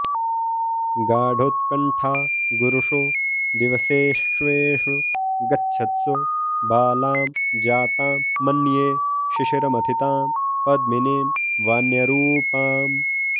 गाढोत्कण्ठा गुरुषु दिवसेष्वेषु गच्छत्सु बालां जातां मन्ये शिशिरमथितां पद्मिनीं वान्यरूपाम्